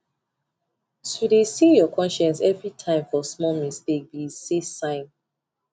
to de see your conscience every time for small mistake be esay sign